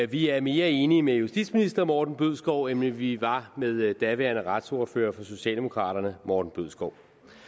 vi er mere enige med justitsminister morten bødskov end vi var med daværende retsordfører for socialdemokraterne morten bødskov